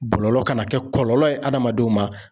Bɔlɔlɔ kana kɛ kɔlɔlɔ ye hadamadenw ma.